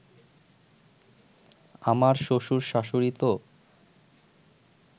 আমার শ্বশুর-শাশুড়ি তো